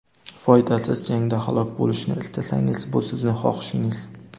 Foydasiz jangda halok bo‘lishni istasangiz, bu sizning xohishingiz.